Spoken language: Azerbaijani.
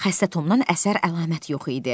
Xəstə Tomdan əsər əlamət yox idi.